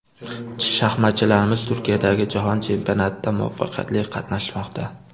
Shaxmatchilarimiz Turkiyadagi jahon chempionatida muvaffaqiyatli qatnashmoqda.